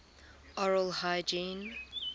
oral hygiene